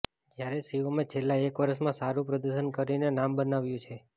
જ્યારે શિવમે છેલ્લા એક વર્ષમાં સારું પ્રદર્શન કરીને નામ બનાવ્યું છે